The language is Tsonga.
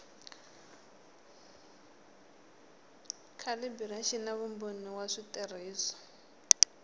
calibiraxini na vumbhoni wa switirhiso